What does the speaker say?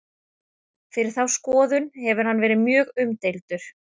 fyrir þá skoðun hefur hann verið mjög umdeildur